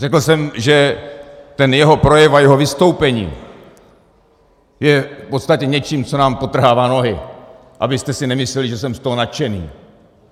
Řekl jsem, že ten jeho projev a jeho vystoupení je v podstatě něčím, co nám podtrhává nohy, abyste si nemysleli, že jsem z toho nadšený.